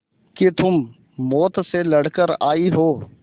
कि तुम मौत से लड़कर आयी हो